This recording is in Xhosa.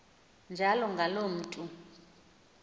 njalo ngaloo mntu